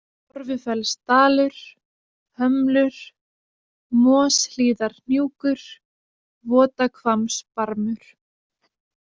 Torfufellsdalur, Hömlur, Moshlíðarhnjúkur, Votahvammsbarmur